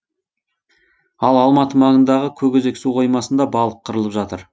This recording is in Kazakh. ал алматы маңындағы көкөзек су қоймасында балық қырылып жатыр